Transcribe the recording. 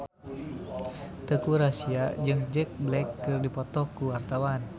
Teuku Rassya jeung Jack Black keur dipoto ku wartawan